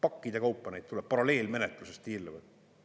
Pakkide kaupa neid tuleb, paralleelmenetluses tiirlevad.